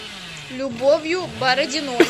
любовью бородиной